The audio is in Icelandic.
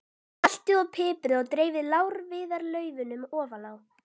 Saltið og piprið og dreifið lárviðarlaufunum ofan á.